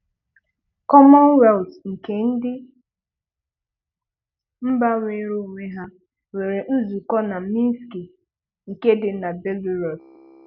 Kọmọnweltụ nke ndị mba nweere onwe ha nwere nzukọ na Mịnskị, nke dị na Belarọsụ